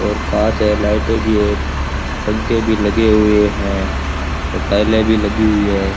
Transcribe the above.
और कांच है लाइटें भी है पंखे भी लगे हुए हैं और टाइलें भी लगी हुई है।